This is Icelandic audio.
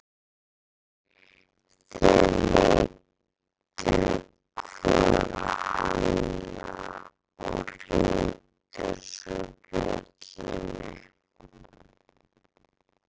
Þeir litu hvor á annan og hringdu svo bjöllunni.